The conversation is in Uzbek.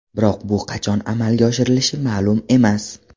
Biroq bu qachon amalga oshirilishi ma’lum emas.